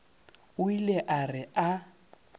o ile a re a